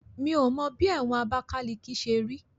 Mi ò mọ bí ẹ̀wọ̀n Abakaliki ṣe rí